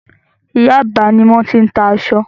Yaba ni wọ́n ti ń tà aṣọ.